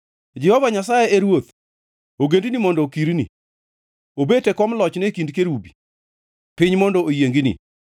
Jehova Nyasaye e Ruoth, ogendini mondo okirni; obet e kom lochne e kind kerubi, piny mondo oyiengni.